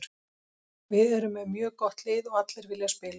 Við erum með mjög gott lið og allir vilja spila.